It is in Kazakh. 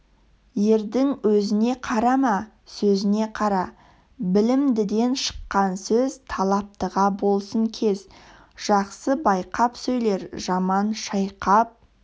ердің өзіне қарама сөзіне қара білімдіден шыққан сөз талаптыға болсын кез жақсы байқап сөйлер жаман шайқап